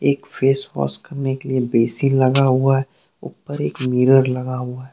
एक face wash करने के लिए बेसिन लगा हुआ है ऊपर एक मिरर लगा हुआ है।